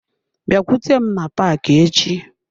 Bịakwute m na paaki echi.